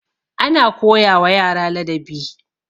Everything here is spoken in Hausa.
ana koyawa yara ladabi